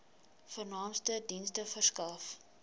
vernaamste dienste verskaf